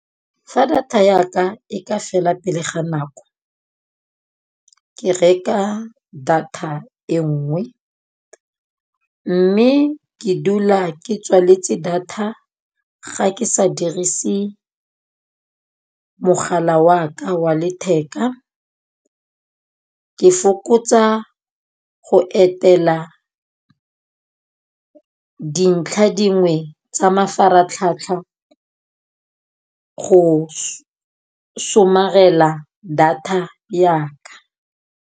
Fa data ya ka e ka fela pele ga nako, ke reka data e nngwe. Mme ke dula ke tswaletse data ga ke sa dirise mogala wa ka wa letheka. Ke fokotsa go etela dintlha dingwe tsa mafaratlhatlha go somarela data ya ka.